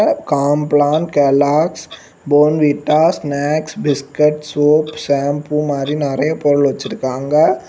Complan Kellogg's Bournvita snacks biscuit soap shampoo மாரி நெறைய பொருள் வச்சிருக்காங்க.